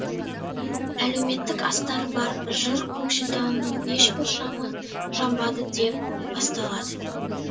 әлеуметтік астары бар жыр көкшетауының ешбір шамы жамбады деп басталады